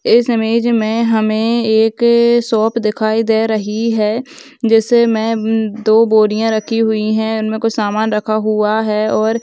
इस इमेज हमे एक शॉप दिखाई दे रही है जिसमें दो बोरियाँ रखी हुई है उन्मे कुछ समान रखा हुआ है और --